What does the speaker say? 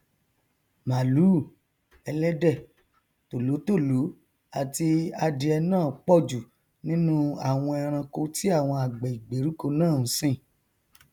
màlúù ẹlẹdẹ tòlótòló àti adìẹ nọn pọjù nínú àwọn ẹranko tí àwọn àgbẹ ìgbèríko náà nsìn